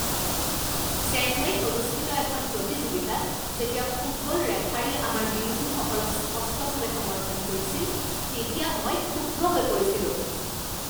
চেন্নাইত অনুষ্ঠিত এখন প্ৰতিযোগিতাত যেতিয়া ফুটবল ৰেফাৰীয়ে আমাৰ বিৰোধীসকলক স্পষ্টভাৱে সমৰ্থন কৰিছিল তেতিয়া মই ক্ষুব্ধ হৈ পৰিছিলোঁ।